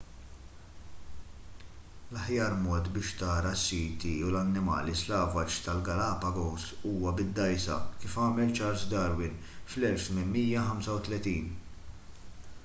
l-aħjar mod biex tara s-siti u l-annimali slavaġ tal-galapagos huwa bid-dgħajsa kif għamel charles darwin fl-1835